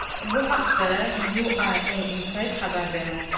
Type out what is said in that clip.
Bu haqda UAEInside xabar bermoqda .